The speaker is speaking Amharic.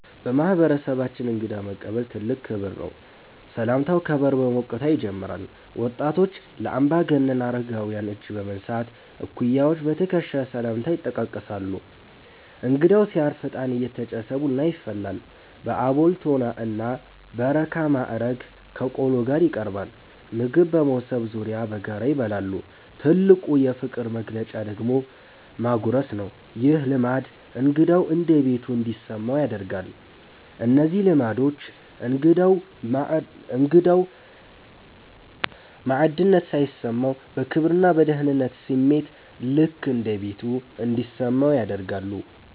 በማህበረሰባችን እንግዳ መቀበል ትልቅ ክብር ነው። ሰላምታው ከበር በሞቅታ ይጀምራል። ወጣቶች ለአምባገነን አረጋውያን እጅ በመንሳት፣ እኩያዎች በትከሻ ሰላምታ ይጠቃቀሳሉ። እንግዳው ሲያርፍ እጣን እየተጨሰ ቡና ይፈላል። በአቦል፣ ቶና እና በረካ ማዕረግ ከቆሎ ጋር ይቀርባል። ምግብ በመሶብ ዙሪያ በጋራ ይበላል። ትልቁ የፍቅር መግለጫ ደግሞ ማጉረስ ነው። ይህ ልማድ እንግዳው እንደ ቤቱ እንዲሰማው ያደርጋል። እነዚህ ልማዶች እንግዳው ባዕድነት ሳይሰማው፣ በክብርና በደህንነት ስሜት "ልክ እንደ ቤቱ" እንዲሰማው ያደርጋሉ።